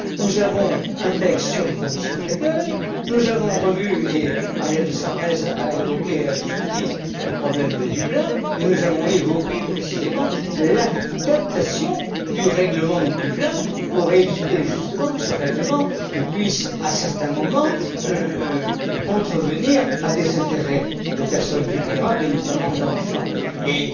Nous avons un texte sur les conditions d'accueil, nous avons revu et Marielle de Sarnez l'a évoqué, à juste titre le problème de Dublin, nous avons évoqué précisément l'adaptation du règlement de Dublin pour éviter justement que ce règlement ne puisse, à certains moments, contrevenir à des intérêts de personnes vulnérables et notamment d'enfants,